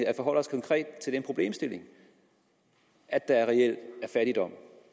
at forholde os konkret til den problemstilling at der reelt er fattigdom